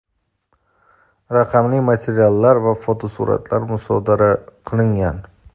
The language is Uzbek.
raqamli materiallar va fotosuratlar musodara qilingan.